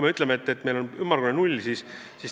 Me ütleme, et nende arv on meil ümmargune null.